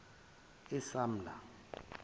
esamla